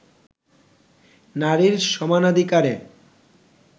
নারীর সমানাধিকারে